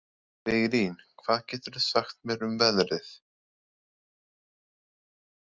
Viglín, hvað geturðu sagt mér um veðrið?